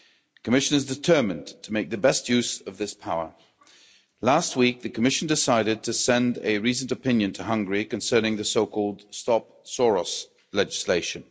The Commission is determined to make the best use of this power. Last week, the Commission decided to send a reasoned opinion to Hungary concerning the so called Stop Soros' legislation.